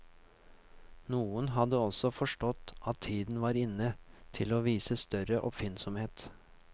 Noen hadde også forstått at tiden var inne til å vise større oppfinnsomhet.